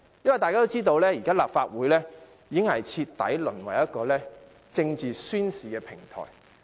因為大家也知道，現在的立法會已徹底淪為一個政治宣示的平台。